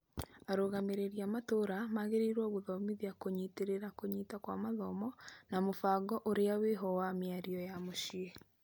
Arũgamĩrĩri a matũra magĩrĩirwo gũthomithia kũnyitĩrĩra kũnyita kwa mathomo na mũbango ũria wĩho wa mĩario ya muciĩ.